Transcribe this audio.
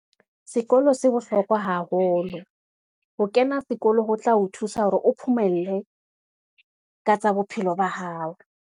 Sekolo se bohlokwa haholo, ho kena sekolo ho tla o thusa hore o phomelle ka tsa bophelo ba hao.